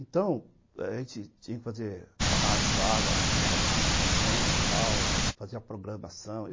Então, a gente tinha que fazer... analisava as movimentações, tal, fazia programação.